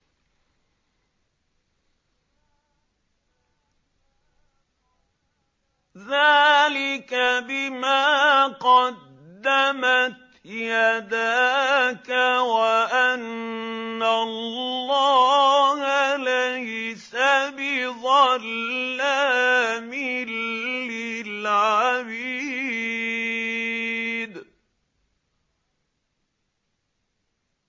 ذَٰلِكَ بِمَا قَدَّمَتْ يَدَاكَ وَأَنَّ اللَّهَ لَيْسَ بِظَلَّامٍ لِّلْعَبِيدِ